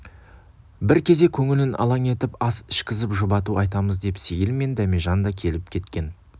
бір кезек көңілін алаң етіп ас ішкізіп жұбату айтамыз деп сейіл мен дәмежан да келіп кеткен